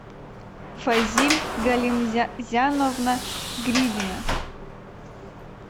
фазиль галимзяновна гридина